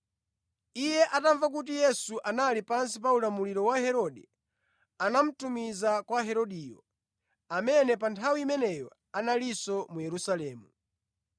Iye atamva kuti Yesu anali pansi pa ulamuliro wa Herode, anamutumiza kwa Herodeyo, amene pa nthawi imeneyo analinso mu Yerusalemu.